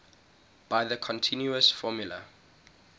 by the continuous formula